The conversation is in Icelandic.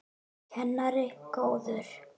Kennari góður.